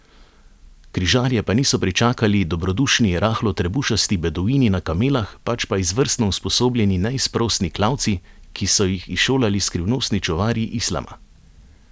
Križarje pa niso pričakali dobrodušni rahlo trebušasti beduini na kamelah, pač pa izvrstno usposobljeni neizprosni klavci, ki so ji izšolali skrivnostni čuvarji islama.